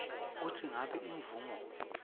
kutsi ngabe imvumo